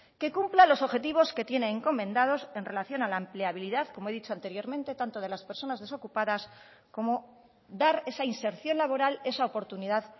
que cumpla los objetivos que tiene encomendados en relación a la empleabilidad como he dicho anteriormente tanto de las personas desocupadas como dar esa inserción laboral esa oportunidad